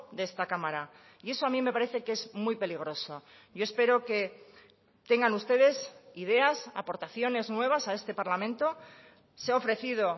de esta cámara y eso a mí me parece que es muy peligroso yo espero que tengan ustedes ideas aportaciones nuevas a este parlamento se ha ofrecido